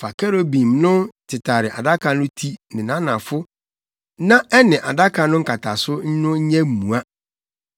Fa kerubim no tetare adaka no ti ne nʼanafo na ɛne adaka no nkataso no nyɛ mua.